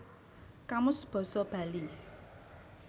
Kamus Basa Bali